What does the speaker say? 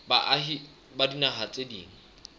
baahi ba dinaha tse ding